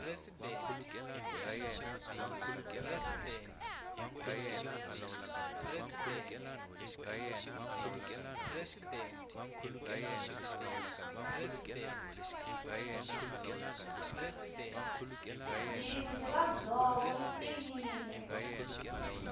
mbzindi ra ndzovo ri tiyile